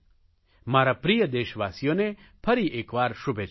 મારા પ્રિય દેશવાસીઓને ફરી એકવાર શુભેચ્છાઓ